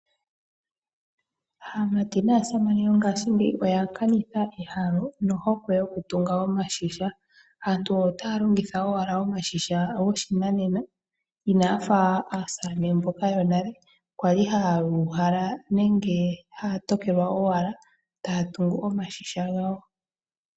Aamati naasamane yongashingeyi oya kanitha ehalo nohokwe yokutumga omashisha aantu otaa longitha owala omashina goshinanena inayafa aasamane mboka yonale kwali haya uhala nenge jaa tokelwa owala taa tungu omashisha gawo.